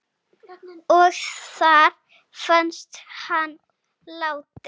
Og þar fannst hann látinn.